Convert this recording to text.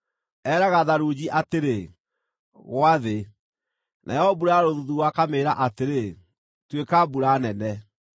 Eeraga tharunji atĩrĩ, ‘Gwa thĩ,’ nayo mbura ya rũthuthuũ akamĩĩra atĩrĩ, ‘Tuĩka mbura nene.’